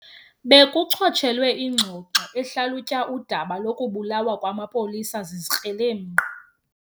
Bekuchotshelwe ingxoxo ehlalutya udaba lokubulawa kwamapolisa zizikrelemnqa.